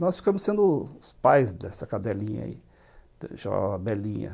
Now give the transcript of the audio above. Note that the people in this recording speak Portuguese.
Nós ficamos sendo os pais dessa cadelinha aí, chamava Belinha.